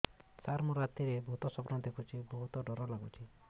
ସାର ମୁ ରାତିରେ ଭୁତ ସ୍ୱପ୍ନ ଦେଖୁଚି ବହୁତ ଡର ଲାଗୁଚି